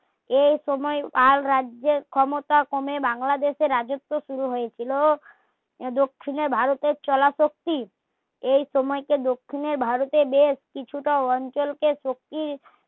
এই সময়ে তার রাজ্যে ক্ষমতা কমে বাংলাদেশের রাজত্ব শুরু হয়েছিল দক্ষিণে ভারতের চলা শক্তি এই সময় কে দক্ষিণে ভারতে বেশ কিছুটা অঞ্চলকে শক্তি